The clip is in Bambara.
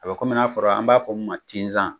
A bɛ kɔmi n'a fɔra, an b'a fɔra an b'a fɔ mun ma cizan